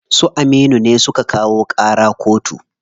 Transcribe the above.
Su Aminu ne suka kawo ƙara koto.